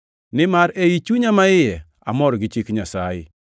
Nimar ei chunya maiye amor gi chik Nyasaye;